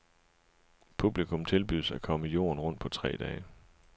Publikum tilbydes at komme jorden rundt på tre dage.